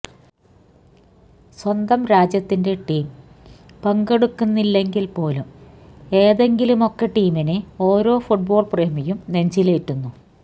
സ്വന്തം രാജ്യത്തിന്റെ ടീം പങ്കെടുക്കുന്നില്ലെങ്കിൽ പോലും ഏതെങ്കിലുമൊക്കെ ടീമിനെ ഒരോ ഫുട്ബോൾ പ്രേമിയും നെഞ്ചിലേറ്റുന്നു